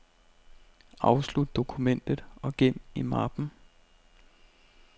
Afslut dokumentet og gem i mappen.